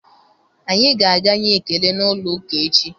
Anyị ga-aga nyee ekele n'ụlọụka echi